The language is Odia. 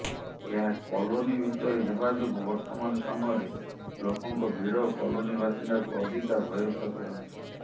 ଏହା କଲୋନୀ ଭିତରେ ହେବା ଯୋଗୁଁ ବର୍ତ୍ତମାନ ସମୟରେ ଲୋକଙ୍କ ଭିଡ଼ କଲୋନୀ ବାସିନ୍ଦାଙ୍କୁ ଅଧିକା ଭୟଭୀତ କରାଉଛି